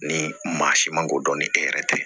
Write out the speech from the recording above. Ni maa si man k'o dɔn ni e yɛrɛ tɛ